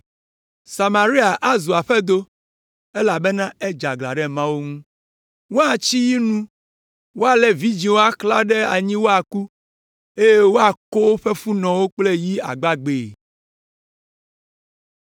Samaria azu aƒedo, elabena edze aglã ɖe Mawu ŋu. Woatsi yi nu, woalé vidzĩwo axlã ɖe anyi woaku, eye woako woƒe funɔwo kple yi agbagbee.”